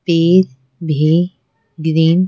पेड़ भी ग्रीन --